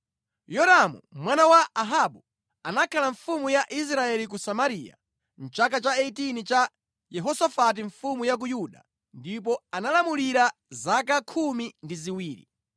Yoramu mwana wa Ahabu anakhala mfumu ya Israeli ku Samariya mʼchaka cha 18 cha Yehosafati mfumu ya ku Yuda ndipo analamulira zaka khumi ndi ziwiri.